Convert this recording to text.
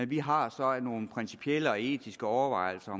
vi har så nogle principielle og etiske overvejelser